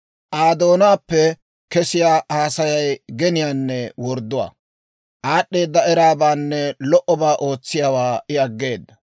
Aa doonaappe kesiyaa haasayay geniyaanne wordduwaa. Aad'd'eeda eraabaanne lo"obaa ootsiyaawaa I aggeeda.